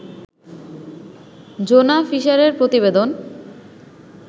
Jonah ফিশারের প্রতিবেদন